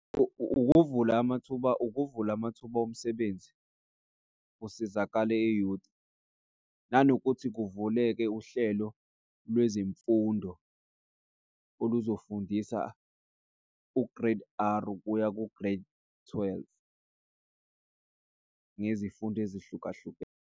Ukuvula amathuba, ukuvula amathuba omsebenzi kusizakale i-youth. Nanokuthi kuvuleke uhlelo lwezemfundo oluzofundisa u-Grade R kuya ku-Grade twelve ngezifundo ezihlukahlukene.